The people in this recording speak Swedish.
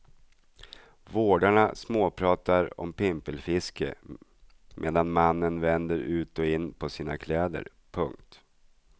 Vårdarna småpratar om pimpelfiske medan mannen vänder ut och in på sina kläder. punkt